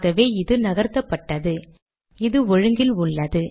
ஆகவே இது நகர்த்தப்பட்டது இது ஒழுங்கில் உள்ளது